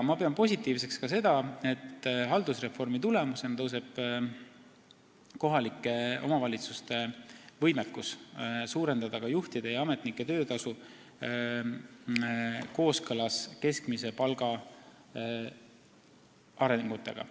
Ma pean positiivseks seda, et haldusreformi tulemusena tõuseb kohalike omavalitsuste võimekus suurendada ka juhtide ja ametnike töötasu, et see oleks kooskõlas keskmise palga arengutega.